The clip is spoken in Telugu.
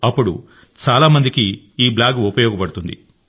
అప్పుడు చాలా మందికి ఉపయోగపడుతుంది